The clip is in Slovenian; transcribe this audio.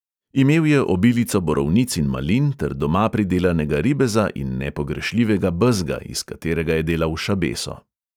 Imel je obilico borovnic in malin ter doma pridelanega ribeza in nepogrešljivega bezga, iz katerega je delal šabeso.